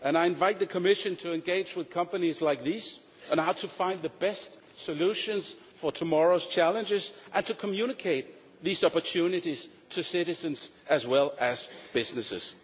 I invite the Commission to engage with companies like these and see how to find the best solutions for tomorrow's challenges and to communicate these opportunities to citizens as well as to businesses.